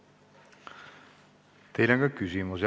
Teile on ka küsimusi.